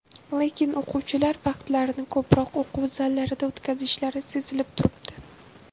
Lekin o‘quvchilar vaqtlarini ko‘proq o‘quv zallarida o‘tkazishlari sezilib turibdi.